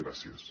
gràcies